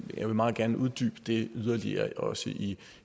jeg vil meget gerne uddybe det yderligere også i